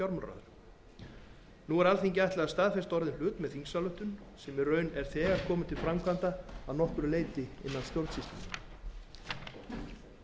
nú er alþingi ætlað að staðfesta orðinn hlut með þingsályktun sem í raun er þegar komin til framkvæmdar að nokkru innan stjórnsýslunnar